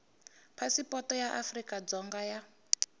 phasipoto ya afrika dzonga ya